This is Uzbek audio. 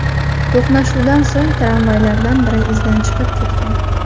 To‘qnashuvdan so‘ng tramvaylardan biri izidan chiqib ketgan.